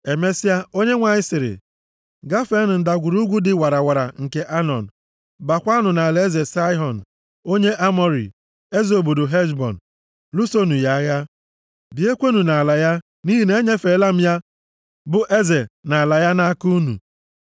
Emesịa, Onyenwe anyị sịrị, “Gafeenụ ndagwurugwu dị warawara nke Anọn, baakwanụ nʼalaeze Saịhọn, onye Amọrị, eze obodo Heshbọn. Lụsonụ ya agha, bichiekwanụ nʼala ya nʼihi na enyefeela m ya bụ eze na ala ya nʼaka unu.